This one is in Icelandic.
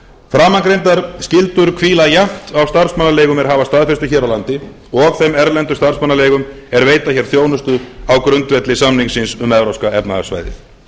framangreindar skyldur hvíla jafnt á starfsmannaleigum er hafa staðfestu hér á landi og þeim erlendu starfsmannaleigum er veita þjónustu á grundvelli samningsins um evrópska efnahagssvæðið